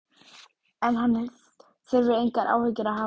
En hann þurfi engar áhyggjur að hafa.